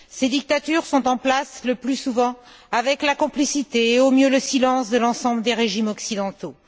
Ces dictatures sont en place le plus souvent avec la complicité et, au mieux, le silence de l'ensemble des régimes occidentaux.